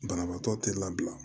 Banabaatɔ te labila